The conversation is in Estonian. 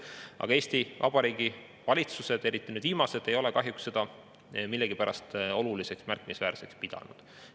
Aga Eesti Vabariigi valitsused, eriti need viimased, ei ole kahjuks seda millegipärast oluliseks või märkimisväärseks pidanud.